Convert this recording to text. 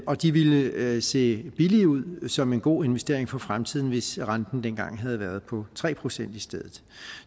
og de ville se billige ud som en god investering for fremtiden hvis renten dengang havde været på tre procent i stedet